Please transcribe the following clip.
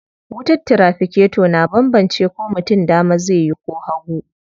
Wutar tiraficator na banbance ko mutum dama zai yi ko hagu.